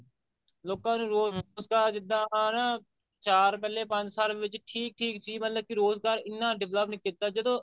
ਲੋਕਾਂ ਨੂੰ ਰੋਜਗਾਰ ਜਿੱਦਾਂ ਉਹਨੂੰ ਚਾਰ ਪਹਿਲੇ ਪੰਜ ਸਾਲ ਵਿੱਚ ਠੀਕ ਠੀਕ ਸੀ ਮਤਲਬ ਕਿ ਰੋਜ਼ਗਾਰ ਇੰਨਾ develop ਨੀ ਕੀਤਾ ਜਦੋਂ